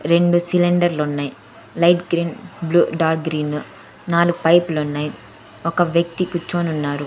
రెండు సిలిండర్లు ఉన్నాయ్ light green blue dark green నాలుగు పైపు లున్నాయ్ ఒక వ్యక్తి కూర్చొని ఉన్నారు.